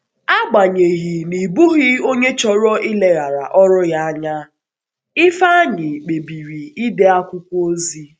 Agbanyeghị, n’ịbụghị onye chọrọ ileghara ọrụ ya anya, Ifeanyi kpebiri ide akwụkwọ ozi.